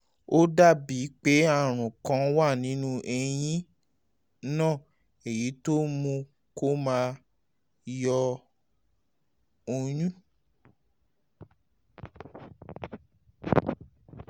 ó dàbí pé àrùn kan um wà nínú eyín náà èyí tó mú kó máa yọ ọyún